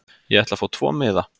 Ég ætla að fá tvo miða.